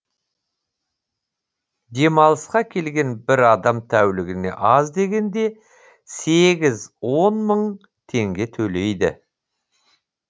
демалысқа келген бір адам тәулігіне аз дегенде сегіз он мың теңге төлейді